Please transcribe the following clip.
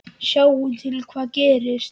Sjáum til hvað gerist